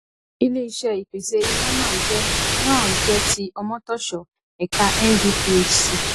iléiṣé ìpèsè iná náà jẹ náà jẹ ti omotosho ẹka ndphc